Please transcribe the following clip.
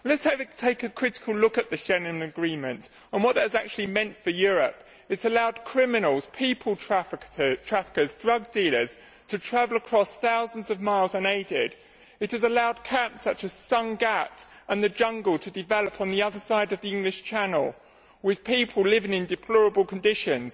Let us take a critical look at the Schengen Agreement and what that has actually meant for Europe it has allowed criminals, people traffickers and drug dealers to travel across thousands of miles unaided it has allowed camps such as Sangatte and the Jungle to develop on the other side of the English Channel, with people living in deplorable conditions.